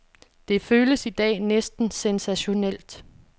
Det føles i dag næsten sensationelt.